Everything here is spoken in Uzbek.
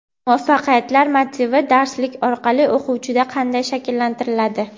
Muvaffaqiyatlar motivi darslik orqali o‘quvchida qanday shakllantiriladi?.